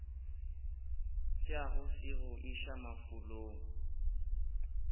tšeago se go iša mafulong